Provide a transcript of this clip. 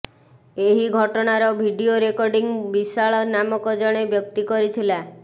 ଏହି ଘଟଣାର video recording Vishal ନାମକ ଜଣେ ବ୍ୟକ୍ତି କରିଥିଲା